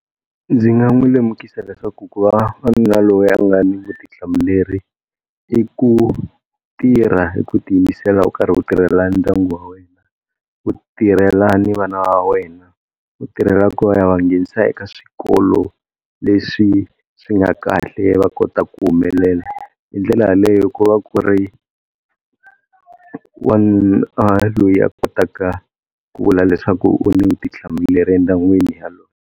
Ndzi nga n'wi lemukisa leswaku ku va wanuna loyi a nga ni vutihlamuleri i ku tirha hi ku tiyimisela u karhi u tirhela ndyangu wa wena. U tirhela ni vana wa wena ku tirhela ku ya va nghenisa eka swikolo leswi swi nga kahle va kota ku humelela. Hi ndlela yaleyo ku va ku ri wanuna loyi a kotaka ku vula leswaku u ni vutihlamuleri endyangwini.